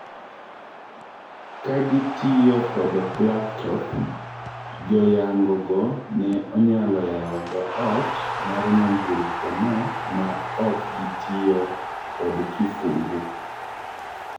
Kagitiyo kod laptop, joyangogo ne onyalo yao dho ot mar nyamburko no ma ok gitiyo kod kifungu.